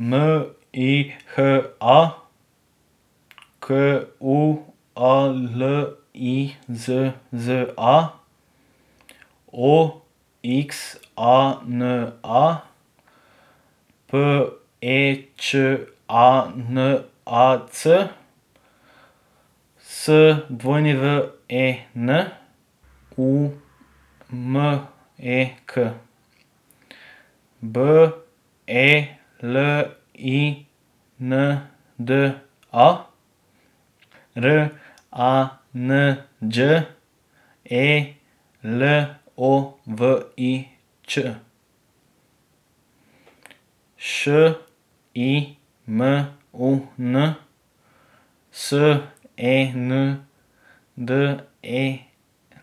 M I H A, Q U A L I Z Z A; O X A N A, P E Č A N A C; S W E N, U M E K; B E L I N D A, R A N Đ E L O V I Ć; Š I M U N, S E N D E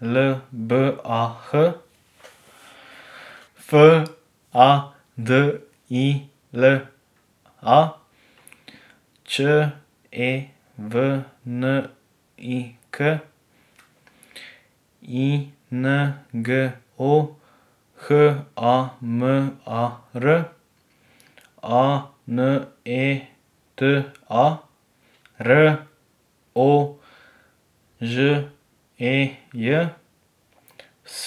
L B A H; F A D I L A, Č E V N I K; I N G O, H A M A R; A N E T A, R O Ž E J; S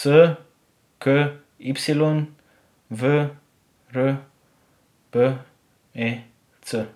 K Y, V R B E C.